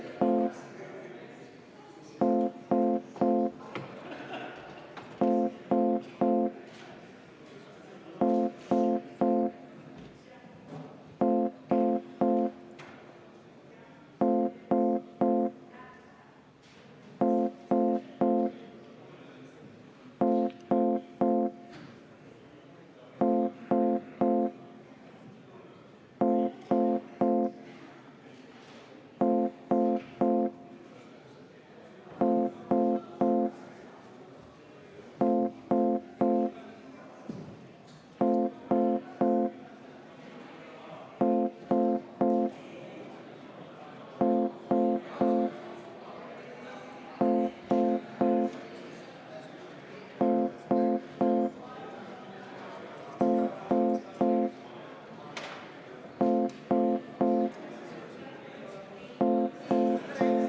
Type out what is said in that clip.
V a h e a e g